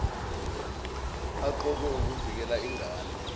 eqokelwe ukuvikela ingane